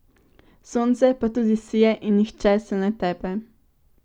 Sonce pa tudi sije in nihče se ne tepe.